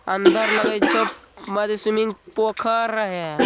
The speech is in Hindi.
अन्दर लग छे स्विमिंग पूल पोखर रहिये |